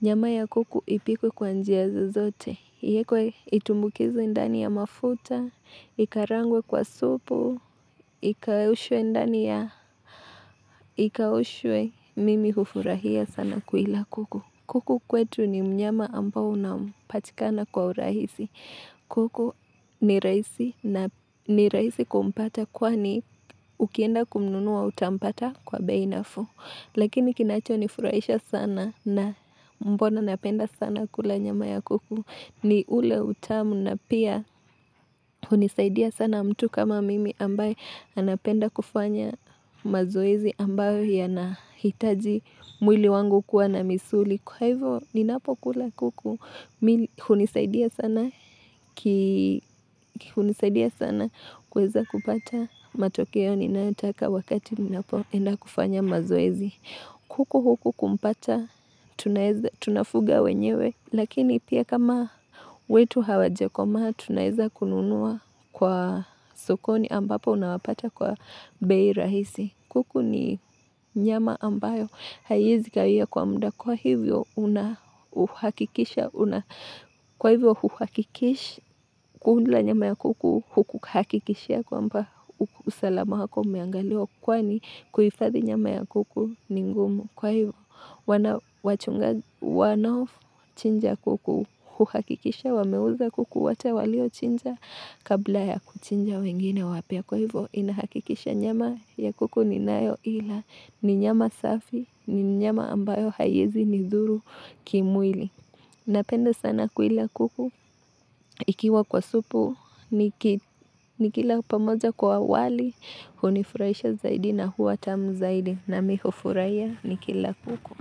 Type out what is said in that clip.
Nyama ya kuku ipikwe kwa njia zozote. Iekwe itumbukizwe ndani ya mafuta, ikarangwe kwa supu, ikaushwe ndani ya, ikaushwe, mimi hufurahia sana kuila kuku. Kuku kwetu ni mnyama ambao unam anapatikana kwa urahisi. Kuku ni rahisi na ni rahisi kumpata kwani ukienda kumnunua utampata kwa bei nafuu. Lakini kinachonifurahisha sana na mbona napenda sana kula nyama ya kuku. Ni ule utamu na pia hunisaidia sana mtu kama mimi ambaye anapenda kufanya mazoezi ambayo yanahitaji mwili wangu kuwa na misuli. Kwa hivyo, ninapokula kuku, hunisaidia sana kuweza kupata matokeo, ninayotaka wakati ninapoenda kufanya mazoezi. Kuku huku kumpata, tunafuga wenyewe, lakini pia kama wetu hawajekoma, tunaweza kununua kwa sokoni ambapo unawapata kwa bei rahisi. Kuku ni nyama ambayo haiwezi kawia kwa mda kwa hivyo unahakikisha, kwa hivyo unahakikisha, kula nyama ya kuku hukuhakikisha kwamba usalama wako umeangaliwa kwani kuhifadhi nyama ya kuku ni ngumu. Kwa hivyo, wanawachunga, wanochinja kuku, huhakikisha, wameuza kuku, wato waliochinja, kabla ya kuchinja wengine wapya Kwa hivyo, inahakikisha nyama ya kuku ni nayo ila, ni nyama safi, ni nyama ambayo haiezi, nidhuru, kimwili Napenda sana kuila kuku, ikiwa kwa supu, nikila pamoja kwa wali, hunifurahisha zaidi na huwa tamu zaidi na mi hufurahia ni kila kuku.